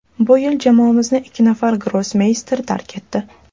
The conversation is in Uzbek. Bu yil jamoamizni ikki nafar grossmeyster tark etdi.